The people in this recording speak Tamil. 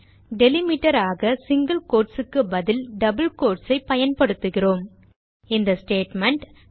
டெலிமிட்டர் ஆக சிங்கில் quotesக்கு பதிலாக டபிள் quotes ஐ பயன்படுத்துகிறோம் இந்த ஸ்டேட்மெண்ட்